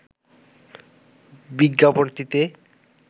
বিজ্ঞাপনটিতে